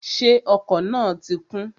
Ṣé ọkọ̀ náà ti kún?